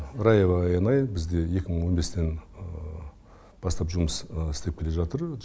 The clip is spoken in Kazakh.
раева аянай бізде екі мың он бестен бастап жұмыс істеп келе жатыр